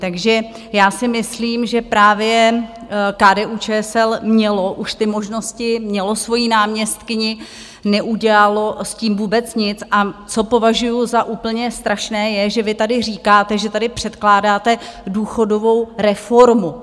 Takže já si myslím, že právě KDU-ČSL mělo už ty možnosti, mělo svoji náměstkyni, neudělalo s tím vůbec nic a co považuji za úplně strašné je, že vy tady říkáte, že tady předkládáte důchodovou reformu.